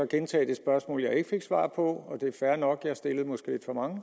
gentage det spørgsmål jeg ikke fik svar på og det er fair nok for jeg stillede måske lidt for mange